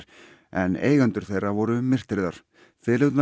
en eigendur þeirra voru myrtir þar